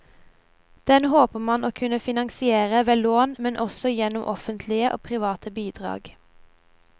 Den håper man å kunne finansiere ved lån, men også gjennom offentlige og private bidrag.